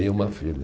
Tenho uma filha.